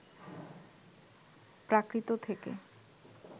প্রাকৃত থেকে